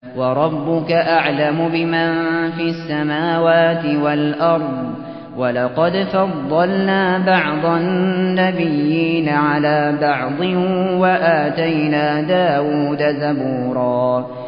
وَرَبُّكَ أَعْلَمُ بِمَن فِي السَّمَاوَاتِ وَالْأَرْضِ ۗ وَلَقَدْ فَضَّلْنَا بَعْضَ النَّبِيِّينَ عَلَىٰ بَعْضٍ ۖ وَآتَيْنَا دَاوُودَ زَبُورًا